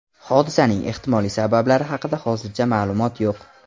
Hodisaning ehtimoliy sabablari haqida hozircha ma’lumot yo‘q.